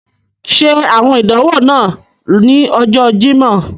Ṣe awọn idanwo naa ni Ọjọ Jimọ.